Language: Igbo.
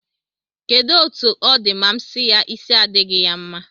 Kedụ etu ọ dị ma m si ya, isi adịghị ya mma